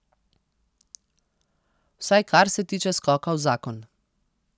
Vsaj kar se tiče skoka v zakon.